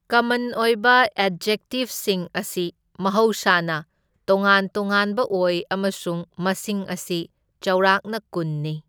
ꯀꯃꯟ ꯑꯣꯏꯕ ꯑꯦꯗꯖꯦꯛꯇꯤꯚꯁꯤꯡ ꯑꯁꯤ ꯃꯍꯧꯁꯥꯅ ꯇꯣꯉꯥꯟ ꯇꯣꯉꯥꯟꯕ ꯑꯣꯏ ꯑꯃꯁꯨꯡ ꯃꯁꯤꯡ ꯑꯁꯤ ꯆꯥꯎꯔꯥꯛꯅ ꯀꯨꯟꯅꯤ꯫